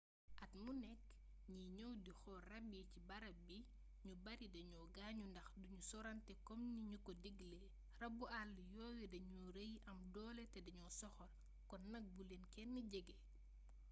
at mu nekk ñi ñëw di xool rab yi ci barab bi ñu bari dañu gaañu ndax duñu sorante kom niñu ko diglee rabu àll yooyu danu rëy am doole te dañoo soxor kon nak bu leen kenn jege